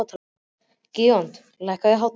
Gídeon, lækkaðu í hátalaranum.